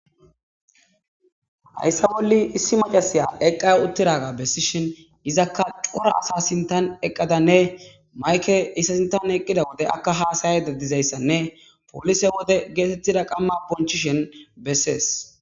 Hayisa boli issi maca,siya eqiwutidayssa besishin izaka co,ra asa sinthan eqadanne mayike izi sinthan eqiza wode aka hasayayida dizayisanne polise wode qama bonchishe betees